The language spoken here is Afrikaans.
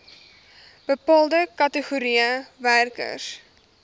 bepaalde kategorieë werkers